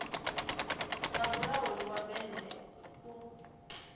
sa mulauli wa bennde u